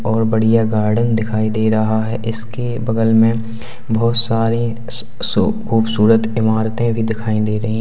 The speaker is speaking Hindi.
और बढ़िया गार्डन दिखाई दे रहा है इसके बगल में बहोत सारी स्-सु खूबसूरत इमारतें भी दिखाई दे रही।